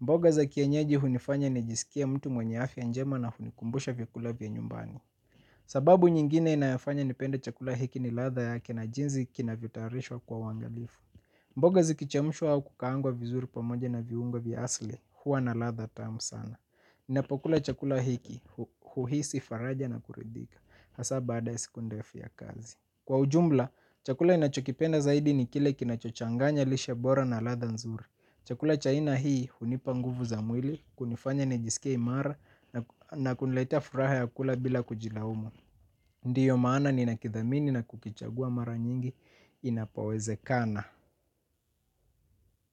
Mboga za kienyeji hunifanya ni jisikie mtu mwenye afya njema na hunikumbusha vyakula vya nyumbani. Sababu nyingine inayofanya ni pende chakula hiki ni latha yake na jinzi kinavyo tayarishwa kwa uwangalifu. Mboga zikichamushwa hau kukaangwa vizuri pamoje na viungo vya asili, huwa na latha tamu sana. Inapokula chakula hiki, huhisi faraja na kuridhika. Hasa baada ya siku ndefu ya kazi. Kwa ujumla, chakula ninachokipenda zaidi ni kile kinachochanganya lishe bora na latha nzuri. Chakula cha aina hii hunipa nguvu za mwili, kunifanya nejisikie imara na kuniletea furaha ya kula bila kujilaumu. Ndiyo maana ni nakithamini na kukichagua mara nyingi inapowezekana.